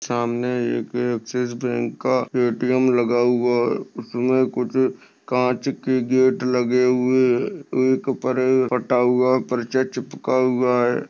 सामने एक Axis bank का ए_टी_एम लगा हुआ है उसमे कुछ काच के गेट लगे हुए परचा चिपका हुआ है।